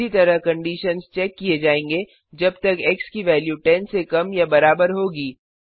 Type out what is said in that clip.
इसी तरह conditions check किए जाएंगे जब तक एक्स की वेल्यू 10 से कम या बराबर होगी